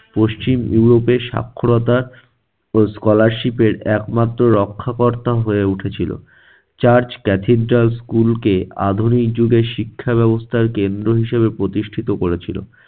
পশ্চিম ইউরোপে সাক্ষরতা ও scholarship এর একমাত্র রক্ষাকর্তা হয়ে উঠেছিল। church cathedral school কে আধুনিক যুগের শিক্ষা ব্যবস্থার কেন্দ্র হিসেবে প্রতিষ্ঠিত করেছিল